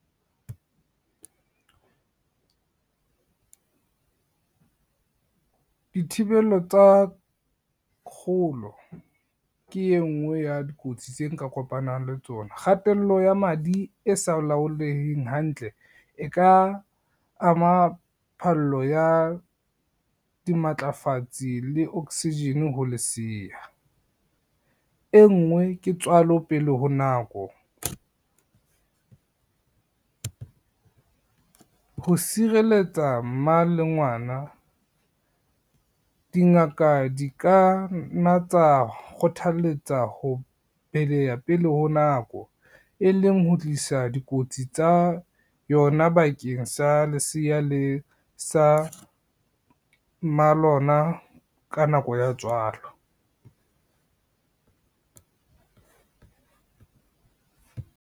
Dithibelo tsa, kgolo ke e ngwe ya dikotsi tse nka kopanang le tsona. Kgatello ya madi e sa laoleheng hantle e ka ama phallo ya dimatlafatsi le oxygen ho leseya. E ngwe ke tswalo pele ho nako, ho sireletsa mma le ngwana, dingaka di ka na tsa kgothaletsa ho beleha pele ho nako, e leng ho tlisa dikotsi tsa yona bakeng sa leseya le sa mma lona ka nako ya tswalo.